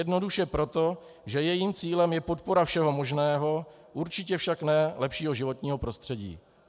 Jednoduše proto, že jejím cílem je podpora všeho možného, určitě však ne lepšího životního prostředí.